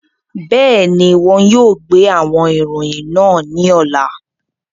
Bẹẹni, wọn yóò gbe awọn iroyin naa ni ọla.